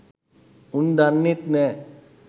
උන් දන්නෙත් නෑ